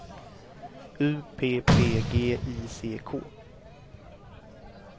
U P P G I C K